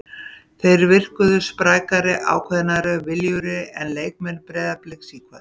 Þeir virkuðu sprækari, ákveðnari og viljugri en leikmenn Breiðabliks í kvöld.